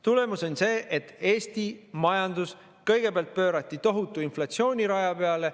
Tulemus on see, et Eesti majandus kõigepealt pöörati tohutu inflatsiooni raja peale.